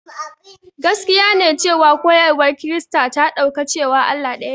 Gaskiya ne cewa koyarwar Kirista ta ɗauka cewa Allah ɗayane.